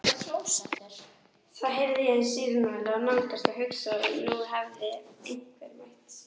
Þá heyrði ég sírenuvæl nálgast og hugsaði að nú hefði einhver meitt sig.